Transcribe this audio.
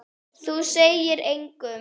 Þú segir engum.